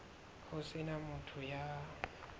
ho se na motho ya